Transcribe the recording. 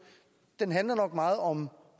handler meget om